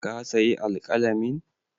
Ka sayi alƙalamin?